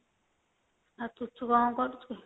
ଆଉ ପୁଚୁ କଣ କରୁଛି?